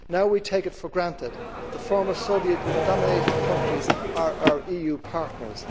Now we take it for granted that the former Soviet dominated countries are our EU partners.